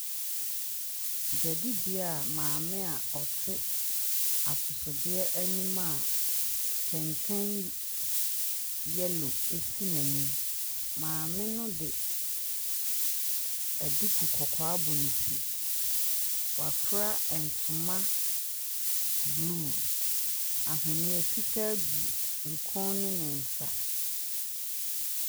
Dwaadibea a maame ɔte atɔsodeɛ anim a kɛntɛn yellow si n’anim. Maame no de duku kɔkɔɔ abɔ ne ti. Wafura ntoma blue, aweneɛ fitaa gu ne kɔn ne ne nsa.